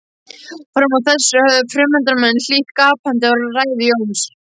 Fram að þessu höfðu fundarmenn hlýtt gapandi á ræðu Jóns.